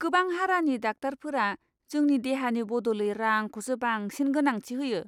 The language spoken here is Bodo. गोबां हारानि डाक्टारफोरा जोंनि देहानि बदलै रांखौसो बांसिन गोनांथि होयो!